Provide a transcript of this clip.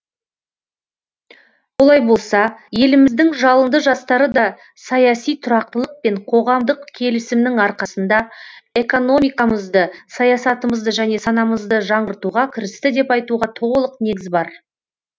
олай болса еліміздің жалынды жастары да саяси тұрақтылық пен қоғамдық келісімнің арқасында экономикамызды саясатымызды және санамызды жаңғыртуға кірісті деп айтуға толық негіз бар